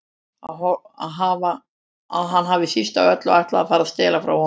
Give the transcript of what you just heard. Að hann hafi síst af öllu ætlað að fara að stela frá honum.